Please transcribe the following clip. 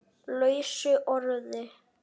lausu orði